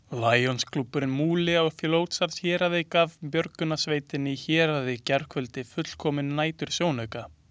Lionsklúbburinn Múli á Fljótsdalshéraði gaf björgunarsveitinni Héraði í gærkvöld fullkominn nætursjónauka.